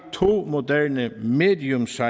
to moderne mediumsize